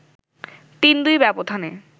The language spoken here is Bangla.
৩-২ ব্যবধানে